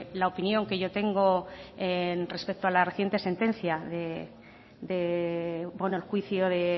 la opinión que yo tengo respecto a la reciente sentencia el juicio de